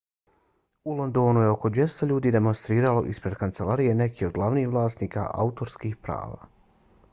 u londonu je oko 200 ljudi demonstriralo ispred kancelarija nekih od glavnih vlasnika autorskih prava